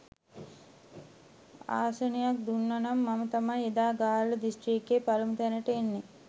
ආසනයක් දුන්නා නම් මම තමයි එදා ගාල්ල දිස්ත්‍රික්කයෙන් පළමු තැනට එන්නේ.